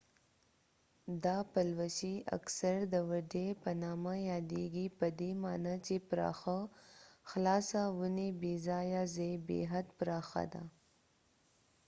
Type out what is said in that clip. دا پلوشې اکثرا د وډي په نامه یادېږي پدې معنی چې پراخه خلاصه ونې بې ځایه ځای بې حد پراخه ده